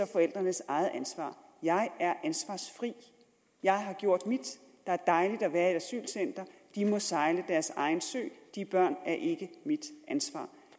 forældrenes eget ansvar jeg er ansvarsfri jeg har gjort mit der er dejligt at være i et asylcenter de må sejle deres egen sø de børn er ikke mit ansvar